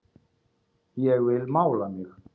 Ég vil mála mig.